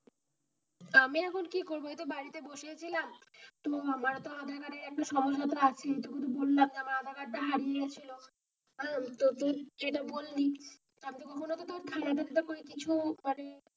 আমি এখন কি করবো এই তো বাড়িতে বসে ছিলাম তো আমার তো আধারকার্ড এর একটা সমস্যা তো আছে এইটুকু তো বললাম যে আমার আধার কার্ড তা হারিয়ে গিয়েছিলো আহ তো তুই যেইটা বললি,